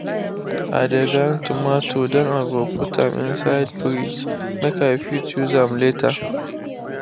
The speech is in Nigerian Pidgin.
i de grind tomato then i go put am inside fridge make i fit use am later.